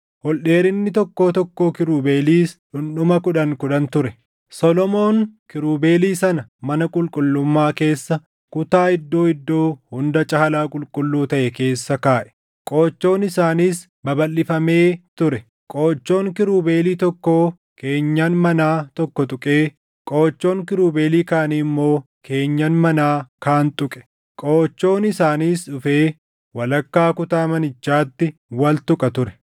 Solomoon kiirubeelii sana mana qulqullummaa keessa kutaa Iddoo Iddoo Hunda Caalaa Qulqulluu taʼe keessa kaaʼe; qoochoon isaaniis babalʼifamee ture. Qoochoon kiirubeelii tokkoo keenyan manaa tokko tuqee qoochoon kiirubeelii kaanii immoo keenyan manaa kaan tuqe; qoochoon isaaniis dhufee walakkaa kutaa manichaatti wal tuqa ture.